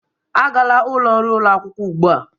Agala ụlọ nri ụlọ akwụkwọ ugbu a!